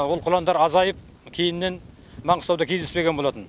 ол құландар азайып кейіннен маңғыстауда кездеспеген болатын